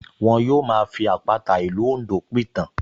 Wọ́n yóò máa fi àpàta ìlú Oǹdó pìtàn